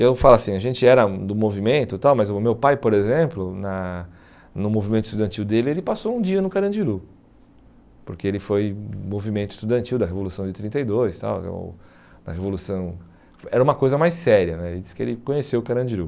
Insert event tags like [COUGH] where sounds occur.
Eu falo assim, a gente era do movimento e tal, mas o meu pai, por exemplo, na no movimento estudantil dele, ele passou um dia no Carandiru, porque ele foi movimento estudantil da Revolução de trinta e dois tal, [UNINTELLIGIBLE] na revolução era uma coisa mais séria né, ele disse que ele conheceu o Carandiru.